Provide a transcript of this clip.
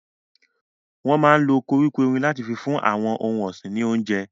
Wọn máa ń lo koríko erin láti fún àwọn ohun ọ̀sìn ní oúnjẹ.